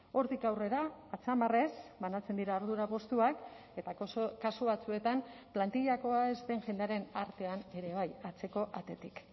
hortik aurrera hatzamarrez banatzen dira ardura postuak eta kasu batzuetan plantillakoa ez den jendearen artean ere bai atzeko atetik